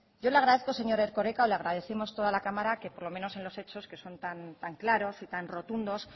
yo le agradezco señor erkoreka o le agradecemos toda la cámara que por lo menos en los hechos que son tan claros y tan rotundos